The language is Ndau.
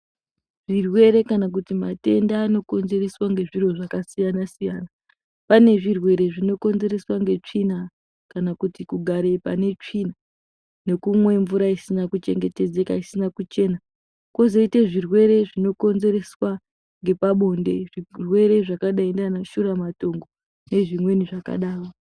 Zvirwere kana kuti matenda naokonzereswa ngezviro zakasiyana siyana. Panezvirwere zvinokonzereswa ngetsvina kana kugare panetsvina nekumwe mvura isina kuchengetedzeka isina kuchena. Kwozoita zvirwere zvinokonzereswa ngepabonde, zvirwere zvakadai naanashuramatongo nezvimweni zvakadaro.